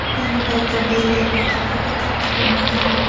Ayni paytda Belgiya poytaxtida tartib o‘rnatilgan.